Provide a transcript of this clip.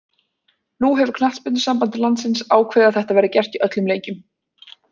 Nú hefur knattspyrnusamband landsins ákveðið að þetta verði gert í öllum leikjum.